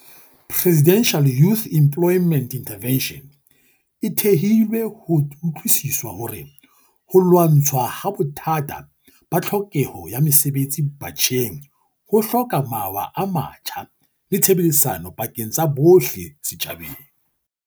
Presidential Youth Emplo yment Intervention e thehilwe ho utlwisiswa hore ho lwa ntshwaha bothata ba tlhoke ho ya mosebetsi batjheng ho hloka mawa a matjha le tshebedisano pakeng tsa bohle setjhabeng.